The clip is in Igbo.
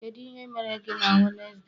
kedu ihe mere gị na Wednesday?